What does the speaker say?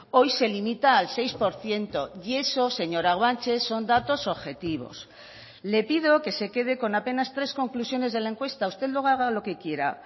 hoy se limita al seis por ciento y eso señora guanche son datos objetivos le pido que se quede con apenas tres conclusiones de la encuesta usted luego haga lo que quiera